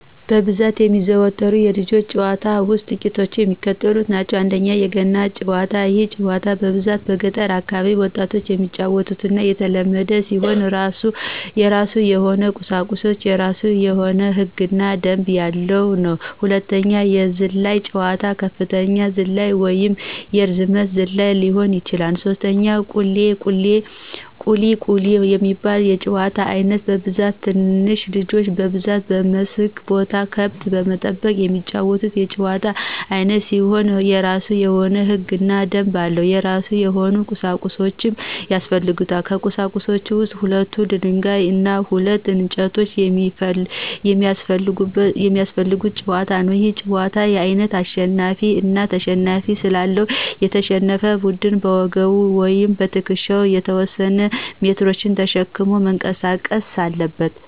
በብዛት ከሚዘወተሩት የልጆች ጨዋታ ውስጥ ጥቂቶቹ የሚከተሉት ናቸው፦ ፩) የገና ጨዋታ፦ ይህ ጨዋታ በብዛት በገጠር አካባቢ ወጣቶች የሚጫወቱትና የተለመደ ሲሆን የራሱ የሆነ ቁሳቁሶች፤ የራሱ የሆነ ህግ እና ደንብ ያለው ነው። ፪) የዝላይ ጨዋታ፦ የከፍታ ዝላይ ወይንም የርዝመት ዝላይ ሊሆን ይችላል። ፫) ቁሊ፦ ቁሊ የሚባለው የጨዋታ አይነት በብዛት ትንንሽ ልጆች በብዛት በመስክ ቦታ ከብት በመጠበቅ የሚጫወቱት የጨዋታ አይነት ሲሆን የራሱ የሆነ ህግና ደንብ አለው። የራሱ የሆነ ቁሳቁሶች ያሰፈልጉታል። ከቁሳቁሶች ውስጥ ሁለት ደንጋይ እና ሁለት እንጨቶች የሚያሰፈልጉት ጨዋታ ነው። ይህ የጨዋታ አይነት አሸናፊ አና ተሸናፊ ስላለው፤ የተሸነፈ ቡድን በወገቡ ወይም በትክሻው የተወሰነ ሜትሮችን ተሸክሞ መንቀሳቀስ አለበት።